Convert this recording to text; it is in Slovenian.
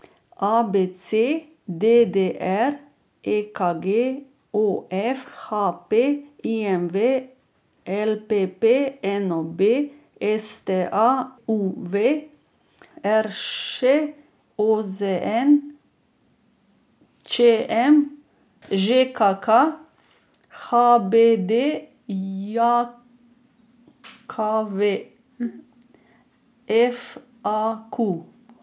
A B C; D D R; E K G; O F; H P; I M V; L P P; N O B; S T A; U V; R Š; O Z N; Č M; Ž K K; H B D J K V; F A Q.